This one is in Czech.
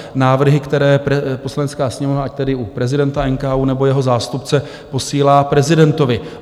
Návrhy, které Poslanecká sněmovna ať tedy u prezidenta NKÚ, nebo jeho zástupce posílá prezidentovi.